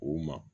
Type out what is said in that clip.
U ma